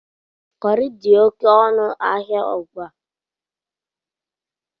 Kọrị dị oké ọnụ ahịa ugbu a.